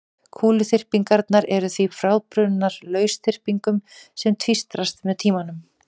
Kúluþyrpingarnar eru því frábrugðnar lausþyrpingum sem tvístrast með tímanum.